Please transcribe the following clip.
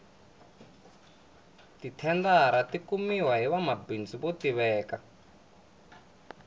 ti thendara ti kumiwa hi vanwamabindzu vo tiveka